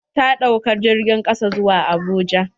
Ta ɗauka jirgin ƙasa zuwa abuja